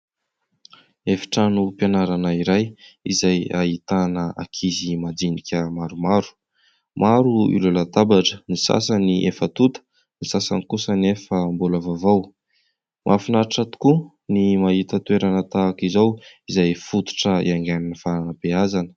Efitrano fianarana iray izay ahitana ankizy majinika maro maro. Maro ireo latabatra ny sasany efa tota ny sasany kosa nefa mbola vaovao. Mahafinaritra tokoa ny mahita toerana tahaka izao izay fototra hiaingan'ny fanabeazana.